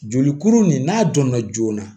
Jolikuru nin n'a dɔnna joona